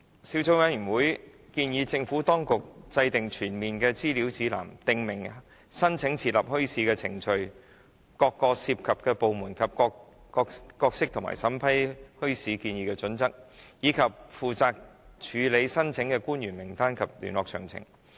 小組委員會建議政府當局制訂全面的資料指南，訂明申請設立墟市的程序，各涉及部門的角色及其審批墟市建議的準則，以及負責處理墟市申請官員的名單及聯絡詳情。